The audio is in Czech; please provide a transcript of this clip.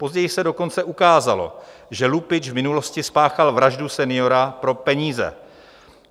Později se dokonce ukázalo, že lupič v minulosti spáchal vraždu seniora pro peníze.